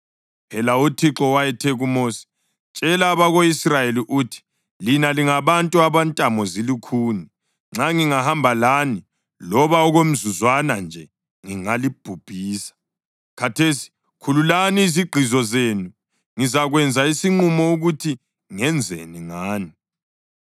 Phela uThixo wayethe kuMosi, “Tshela abako-Israyeli uthi, ‘Lina lingabantu abantamo zilukhuni. Nxa ngingahamba lani loba okomzuzwana nje, ngingalibhubhisa. Khathesi khululani izigqizo zenu; ngizakwenza isinqumo ukuthi ngenzeni ngani.’ ”